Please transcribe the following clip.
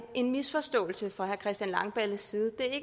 en misforståelse fra herre christian langballes side det er